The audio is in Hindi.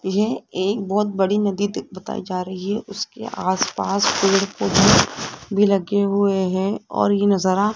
यह एक बहोत बड़ी नदी दी बताई जा रही है उसके आस पास पेड़ पौधे भी लगे हुए है और ये नजारा --